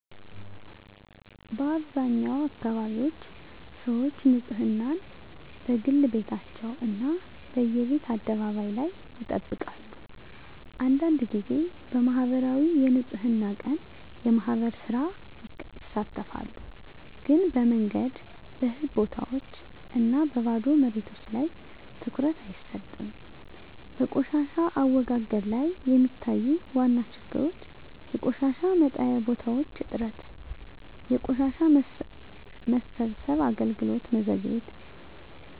በአብዛኛው አካባቢዎች ሰዎች ንፅህናን፦ በግል ቤታቸው እና በየቤት አደባባይ ላይ ይጠብቃሉ አንዳንድ ጊዜ በማኅበራዊ የንፅህና ቀን (የማህበር ሥራ) ይሳተፋሉ ግን በመንገድ፣ በህዝብ ቦታዎች እና በባዶ መሬቶች ላይ ትኩረት አይሰጥም በቆሻሻ አወጋገድ ላይ የሚታዩ ዋና ችግሮች የቆሻሻ መጣያ ቦታዎች እጥረት የቆሻሻ መሰብሰብ አገልግሎት መዘግየት